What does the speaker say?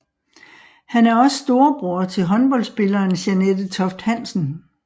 Han er også storebror til håndboldspilleren Jeanette Toft Hansen